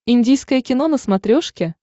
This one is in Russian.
индийское кино на смотрешке